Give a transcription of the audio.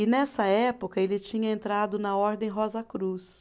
E nessa época, ele tinha entrado na Ordem Rosa Cruz.